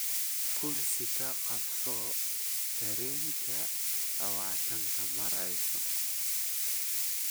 kursi ka qabsato tareenka lawatan -ka Maarso